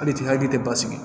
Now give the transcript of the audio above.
Hali tɛ hali tɛ basigi